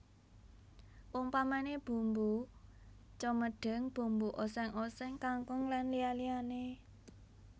Umpamané bumbu cemedhing bumbu oséng oséng kangkung lan liya liyané